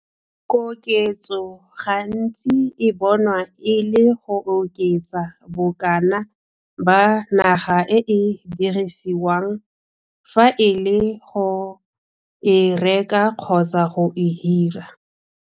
Koketso gantsi e bonwa e le go oketsa bokana ba naga e e dirisiwang, fa e le go e reka kgotsa go e hira.